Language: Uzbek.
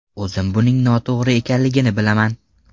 O‘zim buning noto‘g‘ri ekanligini bilaman.